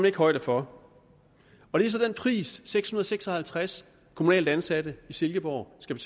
ikke højde for og det er så den pris seks hundrede og seks og halvtreds kommunalt ansatte i silkeborg skal